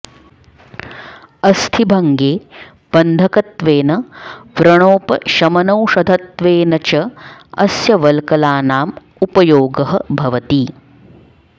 अस्थिभङ्गे बन्धकत्वेन व्रणोपशमनौषधत्वेन च अस्य वल्कलानाम् उपयोगः भवति